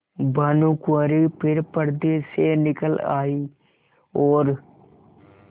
भानुकुँवरि फिर पर्दे से निकल आयी और